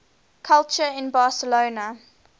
culture in barcelona